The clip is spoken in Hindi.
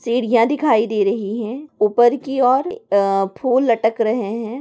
सीढियाँ दिखाई दे रही है ऊपर की और अ फूल लटक रहे है।